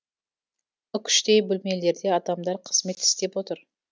үкіштей бөлмелерде адамдар қызмет істеп отыр